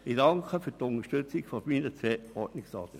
Ich danke für die Unterstützung meiner beiden Ordnungsanträge.